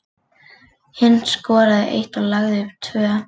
Hinn skoraði eitt og lagði upp tvö.